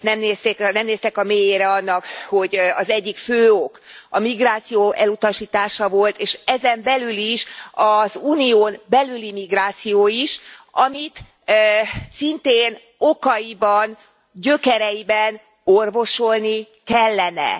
Nem néztek a mélyére annak, hogy az egyik fő ok a migráció elutasítása volt, és ezen belül is az Unión belüli migráció is amit szintén okaiban, gyökereiben orvosolni kellene.